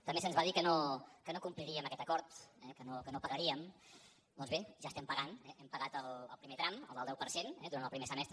també se’ns va dir que no compliríem aquest acord eh que no pagaríem doncs bé ja estem pagant hem pagat el primer tram el del deu per cent eh durant el primer semestre